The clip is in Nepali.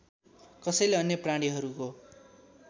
कसैले अन्य प्राणीहरूको